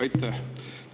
Aitäh!